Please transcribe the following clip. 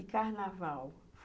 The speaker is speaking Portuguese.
E carnaval?